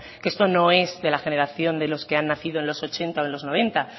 que esto no es de la generación de los que han nacido en los ochenta o en los noventa